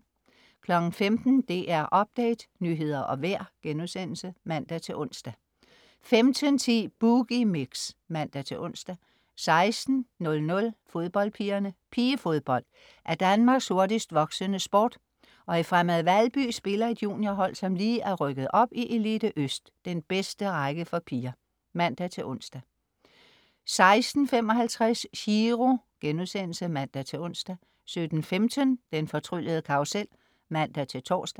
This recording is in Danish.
15.00 DR Update. Nyheder og vejr* (man-ons) 15.10 Boogie Mix (man-ons) 16.00 Fodboldpigerne. Pigefodbold er Danmarks hurtigst voksende sport, og i Fremad Valby spiller et juniorhold, som lige er rykket op i Elite Øst, den bedste række for piger (man-ons) 16.55 Chiro* (man-ons) 17.15 Den fortryllede karrusel (man-tors)